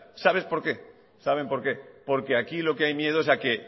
sabes por qué saben por qué porque aquí lo que hay miedo es a que